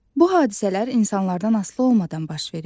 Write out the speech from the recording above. Bu hadisələr insanlardan asılı olmadan baş verir.